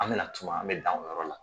An mina tuma an mi dan o yɔrɔ la.